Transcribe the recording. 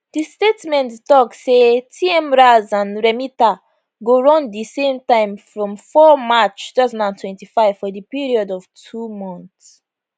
di statement tok say tmras and remita go run di same time from 4 march 2025 for di period of two months